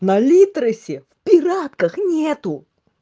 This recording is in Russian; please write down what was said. на литресе в пиратках нету